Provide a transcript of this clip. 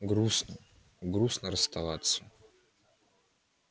грустно грустно расставаться